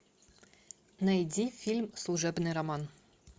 найди фильм служебный роман